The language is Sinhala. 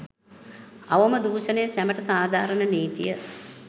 අවම දූශනය සැමට සාධාරන නීතිය